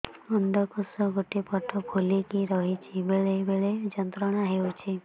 ଅଣ୍ଡକୋଷ ଗୋଟେ ପଟ ଫୁଲିକି ରହଛି ବେଳେ ବେଳେ ଯନ୍ତ୍ରଣା ହେଉଛି